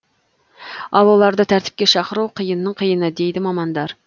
ал оларды тәртіпке шақыру қиынның қиыны дейді мамандар